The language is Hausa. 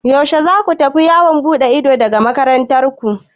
Yaushe za ku tafi yawon buɗe ido daga makarantar ku?